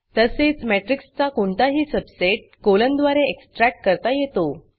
तसेच matrixमेट्रिक्स चा कोणताही सबसेट कोलन द्वारे एक्सट्रॅक्ट करता येतो